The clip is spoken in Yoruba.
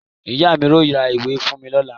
Ìyá mi yóò ra ìwé fún mi lónìí.